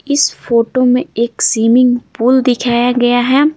इस फोटो में एक स्विमिंग पूल दिखाया गया है।